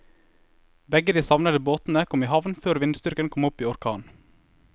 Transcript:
Begge de savnede båtene kom i havn før vindstyrken kom opp i orkan.